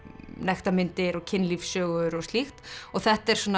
nektarmyndir og kynlífssögur og slíkt og þetta er svona